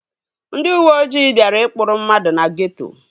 Ndị uweojii bịara ịkpụrụ mmadụ na geeto